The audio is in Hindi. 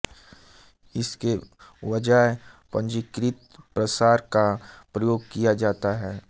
इसके बजाय पंजीकृत प्रसार का प्रयोग किया जाता है